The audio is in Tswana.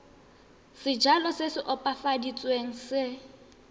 sejalo se se opafaditsweng se